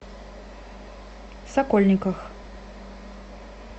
сокольниках